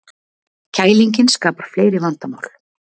Kælingin skapar fleiri vandamál